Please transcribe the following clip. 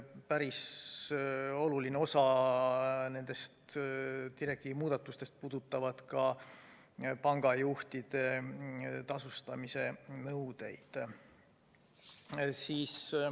Päris oluline osa nendest direktiivi muudatustest puudutab ka pangajuhtide tasustamise nõudeid.